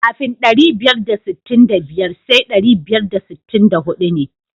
Kafin ɗari biyar da sittin da biyar sai ɗari biyar da sittin da huɗu ne.